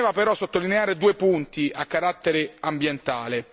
Mi premeva però sottolineare due punti a carattere ambientale.